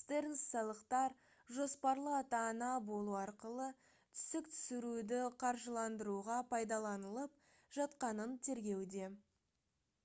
стернс салықтар «жоспарлы ата-ана болу» арқылы түсік түсіруді қаржыландыруға пайдаланылып жатқанын тергеуде